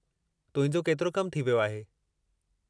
तुंहिंजो केतिरो कमु थी वियो आहे?